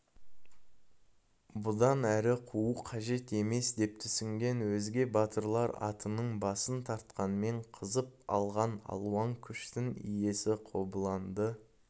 бұдан әрі қуу қажет емес деп түсінген өзге батырлар атының басын тартқанмен қызып алған алуан күштің иесі қобыланды